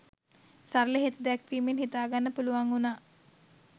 සරල හේතු දැක්වීමින් හිතාගන්න පුළුවන් වුනා.